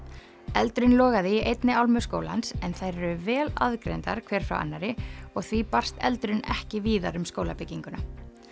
eldurinn logaði í einni álmu skólans en þær eru vel aðgreindar hver frá annarri og því barst eldurinn ekki víðar um skólabygginguna